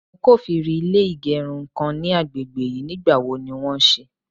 mo kofiri ilé igerun kan ni àgbègbè yìí, ní gba wo ni won sì?